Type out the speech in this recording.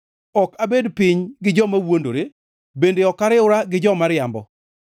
Ok abed piny gi joma wuondore bende ok ariwra gi jo-miriambo.